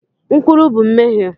Nkwulu bụ mmehie